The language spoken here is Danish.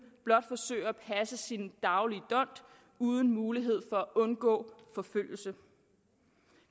blot forsøger at passe sin daglige dont uden mulighed for at undgå forfølgelse